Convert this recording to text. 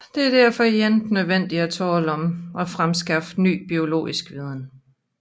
Der er derfor ikke nødvendigvis tale om at fremskaffe ny biologisk viden